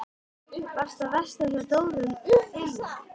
Varstu að versla hjá Dóru ilm?